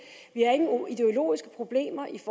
vi har ingen ideologiske problemer i